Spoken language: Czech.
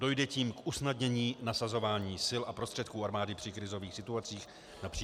Dojde tím k usnadnění nasazování sil a prostředků armády při krizových situacích například -